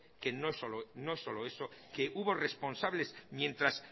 que no es solo eso que hubo responsables mientras